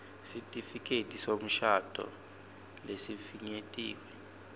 sitifiketi semshado lesifinyetiwe